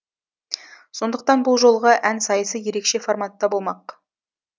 сондықтан бұл жолғы ән сайысы ерекше форматта болмақ